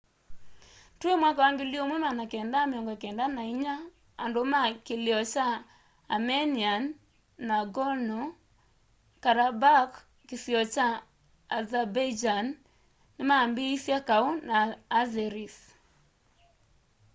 twi 1994 andu ma kilio kya armenian nagorno-karabakh kisio kya azerbaijan nimambiisye kau na azeris